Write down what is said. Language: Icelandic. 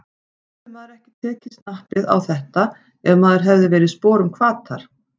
Hefði maður ekki tekið snappið á þetta ef maður hefði verið í sporum Hvatar?